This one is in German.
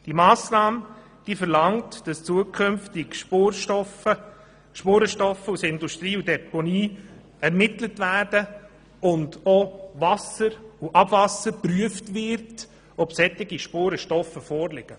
Die Massnahme verlangt, dass Spurenstoffe aus Industrie und Deponien zukünftig ermittelt werden und auch Wasser und Abwasser darauf hin geprüft werden, ob solche Spurenstoffe vorliegen.